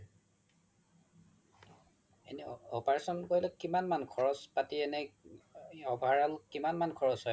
এনে operation কৰিলে কিমান মান খৰচ পাতি এনে overall কিমান মান খৰচ হয় বাৰু